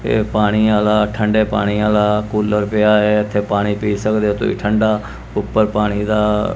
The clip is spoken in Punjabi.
ਇਹ ਪਾਣੀਆ ਦਾ ਠੰਡੇ ਪਾਣੀਆ ਦਾ ਕੂਲਰ ਪਿਆ ਏ ਇਥੇ ਪਾਣੀ ਪੀ ਸਕਦੇ ਹੋ ਤੁਸੀਂ ਠੰਡਾ ਉੱਪਰ ਪਾਣੀ ਦਾ--